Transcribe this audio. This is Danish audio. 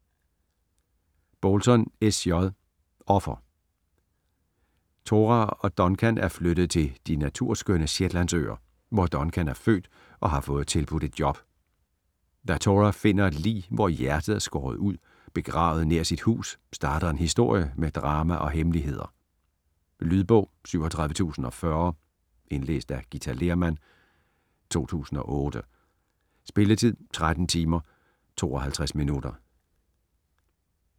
Bolton, S. J.: Offer Tora og Duncan er flyttet til de naturskønne Shetlandsøer, hvor Duncan er født og har fået tilbudt et job. Da Tora finder et lig, hvor hjertet er skåret ud, begravet nær sit hus, starter en historie med drama og hemmeligheder. Lydbog 37040 Indlæst af Githa Lehrmann, 2008. Spilletid: 13 timer, 52 minutter.